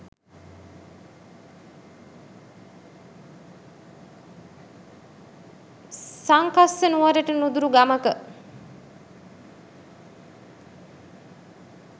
සංකස්ස නුවරට නුදුරු ගමක